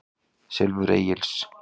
Silfur Egils.